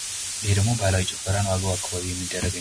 ይሀ ደሞ ባህላዊ ጭፈራ ነው። አገው አካባቢ የሚደረግ።